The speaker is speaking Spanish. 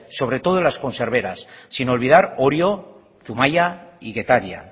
sobre todo en las conserveras sin olvidar orio zumaia y getaria